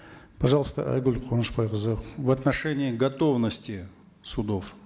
пожалуйста айгүл қуанышбайқызы в отношении готовности судов